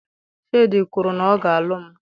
Shade kwuru na ọ ga-alụ m